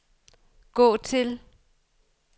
gå til